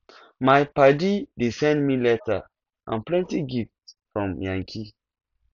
my paddy dey send me letter and plenty gift from yankee